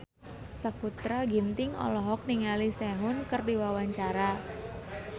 Sakutra Ginting olohok ningali Sehun keur diwawancara